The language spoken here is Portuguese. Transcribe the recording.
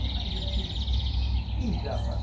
Aí o filho tirou vaca